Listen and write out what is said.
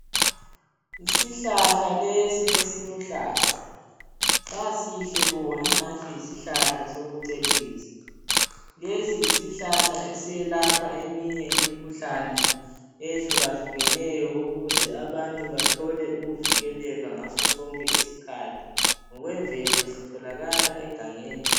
Isihlahle lesi esiluhlaza sasihle bo engathi yisihlala sokucecisa. Lesi yisihlahla esiyelapha eminye imikhuhlane eyehlukahlukeneyo ukuze abantu bathole ukuvikeleka ngaso sonke isikhathi. Ngokwemvelo sitholakala egangeni.